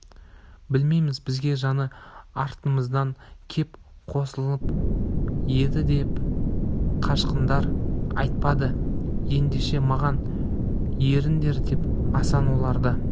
білмейміз бізге жаңа артымыздан кеп қосылын еді деп қашқындар айтпады ендеше маған еріңдер деп асан оларды